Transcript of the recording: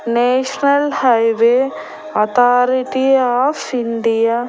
National highway authority of India .